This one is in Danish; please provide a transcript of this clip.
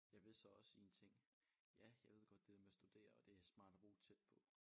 Jeg vil så også sige en ting ja jeg ved godt det der med at studere og det smart at bo tæt på